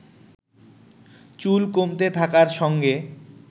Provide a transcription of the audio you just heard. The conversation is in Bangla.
চুল কমতে থাকার সঙ্গে